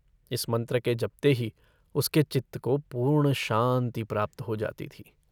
इस मन्त्र के जपते ही उसके चित्त को पूर्ण शान्ति प्राप्त हो जाती थी।